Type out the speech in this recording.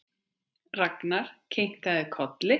Ragnar kinkaði kolli.